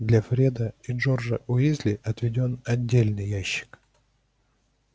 для фреда и джорджа уизли отведён отдельный ящик